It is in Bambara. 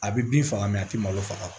A bɛ bin faga mɛ a ti malo faga